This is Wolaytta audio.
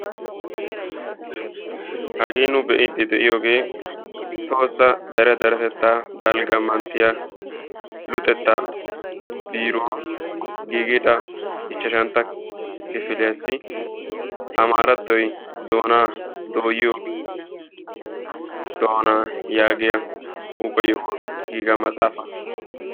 Hagee nu be'iidi de'iyoogee tohossa dere deretettaa dalgga manttiyaa luxetta biiruwaan giigida ichchashshantta kifiliyaassi amaarattoy doonaa dooyiyoo doonaa yaagiyaa huuphphe yohuwaan giiga matsaafaa.